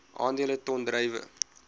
aandele ton druiwe